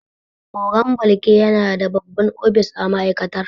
Ogan Balki yana da babban ofis a ma'aikatar.